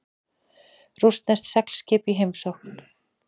Rússneskt seglskip í heimsókn